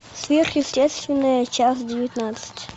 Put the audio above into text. сверхъестественное часть девятнадцать